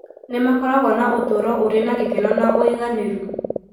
nĩ makoragwo na ũtũũro ũrĩ na gĩkeno na ũiganĩru.